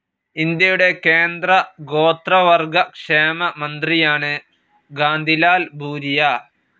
ഇന്ത്യയുടെ കേന്ദ്ര ഗോത്രവർഗ്ഗ ക്ഷേമ മന്ത്രിയാണ് കാന്തിലാൽ ഭുരിയ.